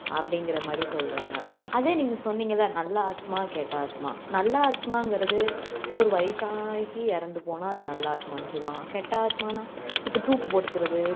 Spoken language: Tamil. அப்படிங்குற மாதிரி சொல்றாங்க அதே நீங்க சொன்னீங்கல்ல நல்ல ஆத்மா கெட்ட ஆத்மா நல்லா அத்மாங்குறது ஒரு வயசாகி இறந்து போனா அது நல்ல ஆத்மான்னு சொல்லுவாங்க கெட்ட ஆத்மான்னா இப்போ தூக்கு போட்டுக்குறது